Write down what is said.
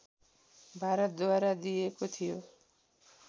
भारतद्वारा दिइएको थियो